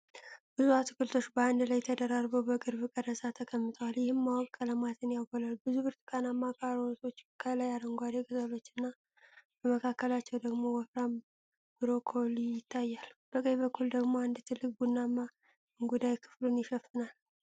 ብዙ አትክልቶች በአንድ ላይ ተደራርበው በቅርብ ቀረጻ ተቀምጠዋል፤ ይህም ደማቅ ቀለማቸውን ያጎላል። ብዙ ብርቱካናማ ካሮቶች ከላይ አረንጓዴ ቅጠሎችና በመካከላቸው ደግሞ ወፍራም ብሮኮሊ ይታያል። በቀኝ በኩል ደግሞ አንድ ትልቅ ቡናማ እንጉዳይ ክፍሉን ይሸፍናል።